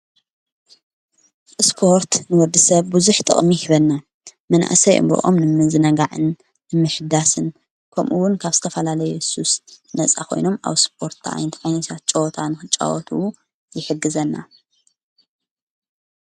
እስጶርት ንወዲ ሰብ ብዙኅ ጠቕሚ ይበና መናእሰይ እምብኦም ንምንዝነጋዕን ንምሽዳስን ከምኡውን ካብ ስተፋላለ ኢየሱስ ነፃ ኾይኖም ኣብ ስጶርትኣይንቲ ኣይኒሻት ጨወታን ኽጫወት ይክግዘና።